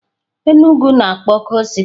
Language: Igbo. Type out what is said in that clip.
Enugwu na-akpọ coal city.